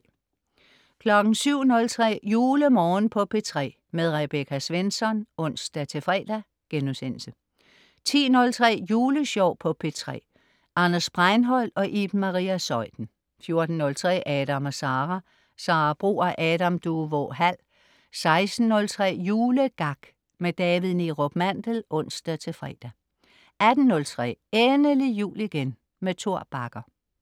07.03 JuleMorgen på P3. Rebecca Svensson (ons-fre)* 10.03 Julesjov på P3. Anders Breinholt og Iben Maria Zeuthen 14.03 Adam & Sara. Sara Bro og Adam Duvå Hall 16.03 Julegak. David Neerup Mandel (ons-fre) 18.03 Endelig jul igen. Tor Bagger